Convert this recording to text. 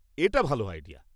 এটা ভাল আইডিয়া।